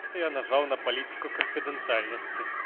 это я нажал на политику конфиденциальности